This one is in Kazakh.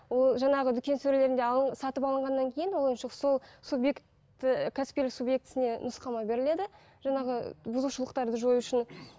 ол жаңағы дүкен сөрелерінде сатып алынғаннан кейін ол ойыншық сол субъекті кәсіпкерлік субъектісіне нұсқаулар беріледі жаңағы бұзушылықтарды жою үшін